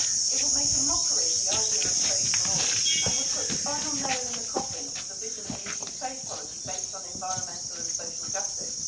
It would make a mockery of the idea of trade for all, and would put the final nail in the coffin of the vision of an EU trade policy based on environmental and social justice.